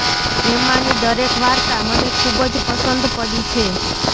એમાંની દરેક વાર્તા મને ખૂબ જ પસંદ પડી છે